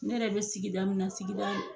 Ne yɛrɛ be sigida min na sigida